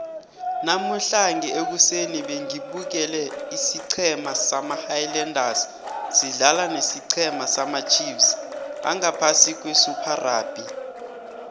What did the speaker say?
namuhlange ekuseni bengibukele isiceme sama highlanders sidlala nesicema samacheifs angaphasi kwesuper rugby